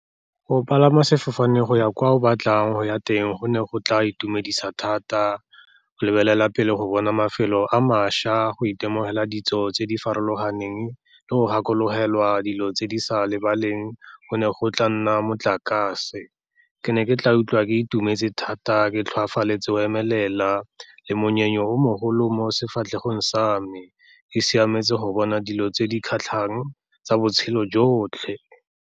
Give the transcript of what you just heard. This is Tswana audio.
Go palama sefofane go ya kwa o batlang go ya teng go ne go tla itumedisa thata, go lebelela pele go bona mafelo a mašwa, go itemogela ditso tse di farologaneng le go gakologelwa dilo tse di sa lebaleng, go ne go tla nna motlakase. Ke ne ke tla utlwa ke itumetse thata, ke tlhoafaletse o emelela le monyenyo o mogolo mo sefatlhego sa me, e siametse go bona dilo tse di kgatlhang tsa botshelo jotlhe.